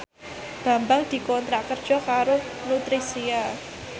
Bambang dikontrak kerja karo Nutricia